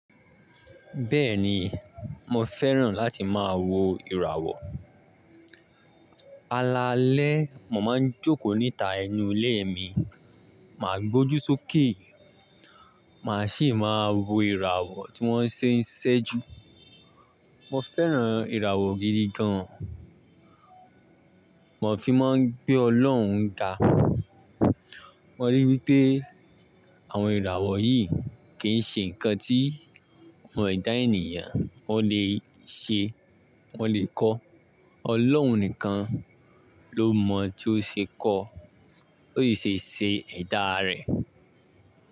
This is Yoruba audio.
Bẹ́ẹ̀ni, mo fẹ́ràn láti máa wo ìràwọ̀. Alaalẹ́ mo máa ń jókòó níta ẹnu ilé mi, màá gbójú sókè, màá sì máa wo ìràwọ̀ tí wọ́n ṣe ń ṣẹ́jú. Mo fẹ́ràn ìràwọ̀ gidi gan. Mo fi máa ń gbé Ọlọ́run dá. Mo ríi wí pé àwọn ìràwọ̀ yìí kì í ṣe nǹkan tí àwọn ẹ̀dá ènìyàn wọn lè ṣe, wọn lè kọ́. Ọlọ́un nìkan ló mọ̀ tí ó ṣe kọ́, ó sì ṣe ṣe ẹ̀dá rẹ̀